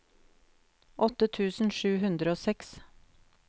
åtte tusen sju hundre og seks